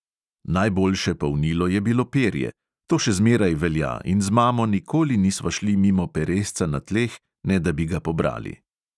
Najboljše polnilo je bilo perje, to še zmeraj velja, in z mamo nikoli nisva šli mimo peresca na tleh, ne da bi ga pobrali.